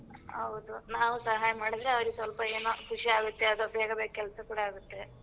ಹೌದು ನಾವು ಸಹಾಯ ಮಾಡಿದ್ರೆ ಅವ್ರಿಗೆ ಸೊಲ್ಪ ಏನೋ ಖುಷಿ ಆಗತ್ತೆ ಅದು ಬೇಗ ಬೇಗ ಕೆಲ್ಸ ಕೂಡ ಆಗತ್ತೆ.